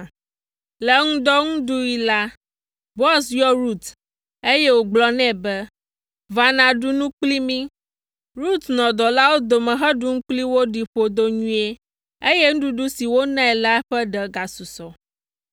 Le ŋdɔnuɖuɣi la, Boaz yɔ Rut, eye wògblɔ nɛ be, “Va nàɖu nu kpli mí.” Rut nɔ dɔwɔlawo dome heɖu nu kpli wo ɖi ƒodo nyuie, eye nuɖuɖu si wonae la ƒe ɖe gasusɔ.